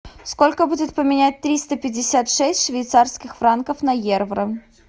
сколько будет поменять триста пятьдесят шесть швейцарских франков на евро